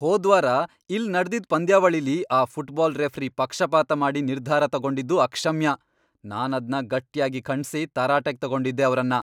ಹೋದ್ವಾರ ಇಲ್ಲ್ ನಡ್ದಿದ್ ಪಂದ್ಯಾವಳಿಲಿ ಆ ಫುಟ್ಬಾಲ್ ರೆಫ್ರಿ ಪಕ್ಷಪಾತ ಮಾಡಿ ನಿರ್ಧಾರ ತಗೊಂಡಿದ್ದು ಅಕ್ಷಮ್ಯ, ನಾನದ್ನ ಗಟ್ಯಾಗಿ ಖಂಡ್ಸಿ ತರಾಟೆಗ್ ತಗೊಂಡಿದ್ದೆ ಅವ್ರನ್ನ.